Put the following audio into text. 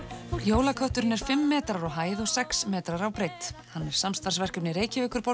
jólakötturinn er fimm metrar á hæð og sex metrar á breidd hann er samstarfsverkefni Reykjavíkurborgar